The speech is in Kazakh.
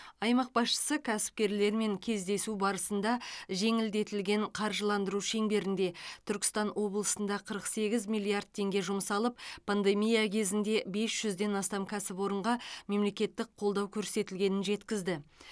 аймақ басшысы кәсіпкерлермен кездесу барысында жеңілдетілген қаржыландыру шеңберінде түркістан облысында қырық сегіз миллиард теңге жұмсалып пандемия кезінде бес жүзден астам кәсіпорынға мемлекеттік қолдау көрсетілгенін жеткізді